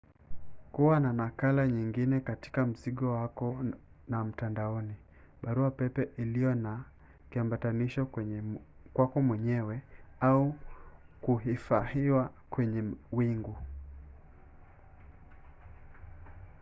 kuwa na nakala nyingine katika mzigo wako na mtandaoni baruapepe iliyo na kiambatisho kwako mwenyewe au kuhifahiwa kwenye wingu”